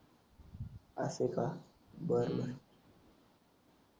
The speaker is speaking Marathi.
असं का बर बर